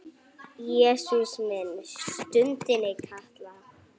Jesús minn stundi Kata.